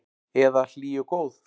Eða hlý og góð?